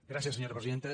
gràcies senyora presidenta